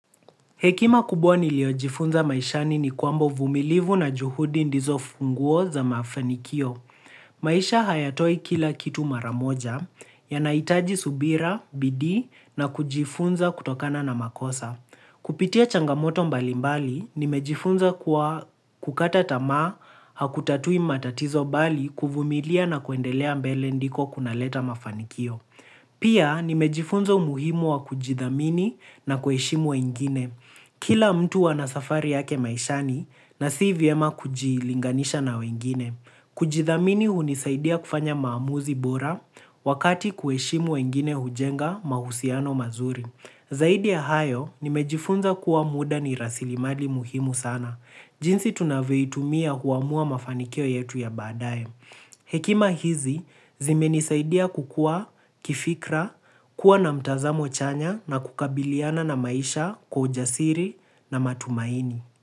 Hekima kubwa niliyojifunza maishani ni kwamba uvumilivu na juhudi ndizo funguo za mafanikio. Maisha hayatoi kila kitu mara moja ya nahitaji subira, bidii na kujifunza kutokana na makosa. Kupitia changamoto mbalimbali, nimejifunza kuwa kukata tamaa hakutatui matatizo bali kuvumilia na kuendelea mbele ndiko kunaleta mafanikio. Pia nimejifunza umuhimu wa kujidhamini na kuheshimu wengine. Kila mtu anasafari yake maishani na si vyema kujilinganisha na wengine. Kujidhamini hunisaidia kufanya maamuzi bora wakati kuheshimu wengine hujenga mahusiano mazuri. Zaidi ya hayo, nimejifunza kuwa muda ni rasilimali muhimu sana. Jinsi tunavyoitumia huamua mafanikio yetu ya baadaye. Hekima hizi zimenisaidia kukuwa, kifikra, kuwa na mtazamo chanya na kukabiliana na maisha kwa ujasiri na matumaini.